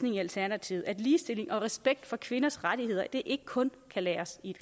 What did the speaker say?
i alternativet at ligestilling og respekt for kvinders rettigheder ikke kun kan læres i